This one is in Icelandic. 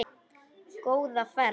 Góða ferð,